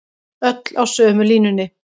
Öll á sömu línunni